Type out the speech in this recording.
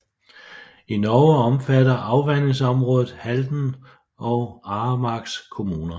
I Norge omfatter afvandingsområdet Halden og Aremarks kommuner